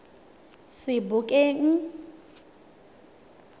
sebokeng